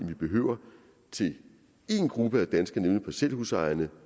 vi behøver til én gruppe af danskere nemlig parcelhusejere